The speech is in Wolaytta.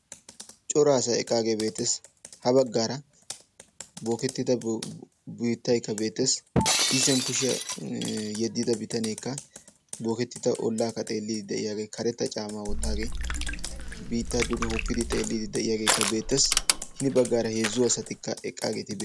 Coraa asay eqqagge bettes. Ha bagara booketta biittay booketta biitta xeelliddi de'iyaage beetees.